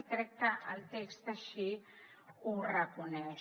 i crec que el text així ho reconeix